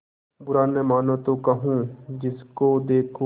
बुरा न मानों तो कहूँ जिसको देखो